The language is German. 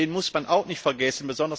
Den darf man auch nicht vergessen.